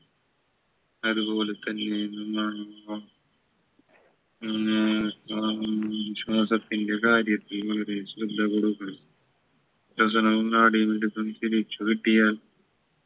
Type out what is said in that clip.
അതുപോലെ തന്നെ നമ്മൾ ഉം ഉം ആഹ് ശ്വാസത്തിൻറെ കാര്യത്തിൽ വളരെ ശ്രദ്ധ കൊടുക്കണം ശ്വസനവും നാഡിയും കൂടെ പിടിച്ചു കെട്ടിയാൽ